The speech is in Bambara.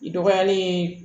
I dɔgɔyalen